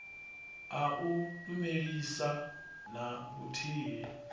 a u lumelisa na vhuthihi